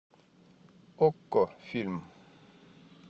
окко фильм